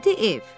Adi ev.